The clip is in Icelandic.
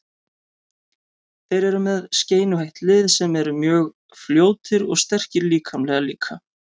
Þeir eru með skeinuhætt lið sem eru mjög fljótir og sterkir líkamlega líka.